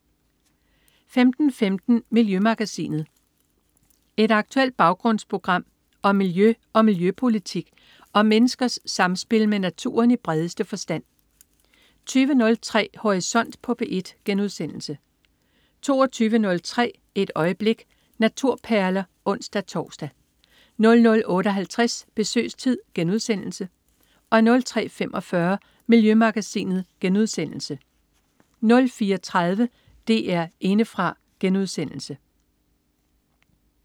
15.15 Miljømagasinet. Et aktuelt baggrundsprogram om miljø og miljøpolitik og om menneskers samspil med naturen i bredeste forstand 20.03 Horisont på P1* 22.03 Et øjeblik. Naturperler (ons-tors) 00.58 Besøgstid* 03.45 Miljømagasinet* 04.30 DR Indefra*